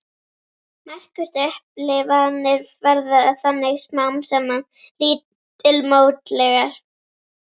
Merkustu upplifanir verða þannig smám saman lítilmótlegar.